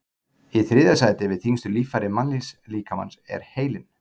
Í þriðja sæti yfir þyngstu líffæri mannslíkamans er heilinn.